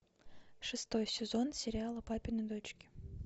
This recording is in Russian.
шестой сезон сериала папины дочки